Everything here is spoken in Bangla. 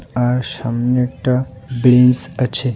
আর সামনেরটা ব্রেঞ্চ আছে.